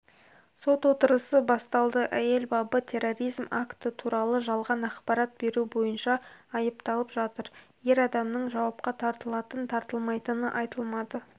сот отырысы басталды әйел бабы терроризм акті туралы жалған ақпарат беру бойынша айыпталып жатыр ер адамның жауапқа тартылатын-тартылмайтыны айтылмады